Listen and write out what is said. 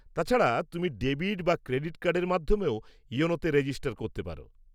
তাছাড়া, তুমি ডেবিট বা ক্রেডিট কার্ডের মাধ্যমেও ইয়োনোতে রেজিস্টার করতে পার।